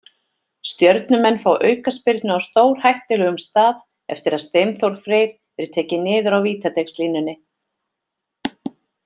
Stjörnumenn fá aukaspyrnu á stórhættulegum stað eftir að Steinþór Freyr er tekinn niður á vítateigslínunni.